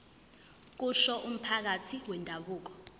kusho umphathi wendabuko